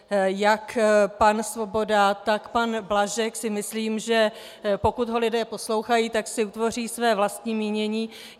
Jak pan Svoboda, tak pan Blažek si myslím, že pokud je lidé poslouchají, tak si utvoří své vlastní mínění.